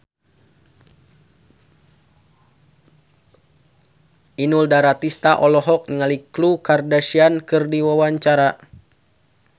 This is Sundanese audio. Inul Daratista olohok ningali Khloe Kardashian keur diwawancara